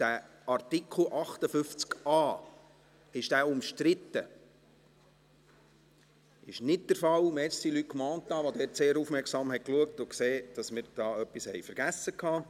Danke, Luc Mentha, dass Sie aufmerksam geschaut und gesehen haben, dass wir da etwas vergessen haben.